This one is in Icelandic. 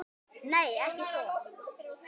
Nei, ekki svo